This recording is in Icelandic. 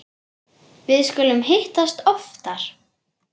Við skulum hittast oftar